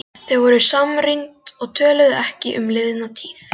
Þau voru samrýnd og töluðu ekki um liðna tíð.